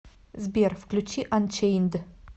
сбер включи анчейнд